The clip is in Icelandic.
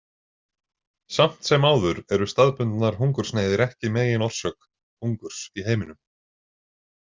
Samt sem áður eru staðbundnar hungursneyðir ekki meginorsök hungurs í heiminum.